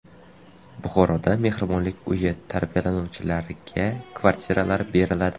Buxoroda mehribonlik uyi tarbiyalanuvchilariga kvartiralar beriladi.